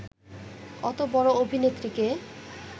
অত বড় অভিনেত্রীকে